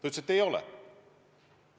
Ta ütles, et ei ole.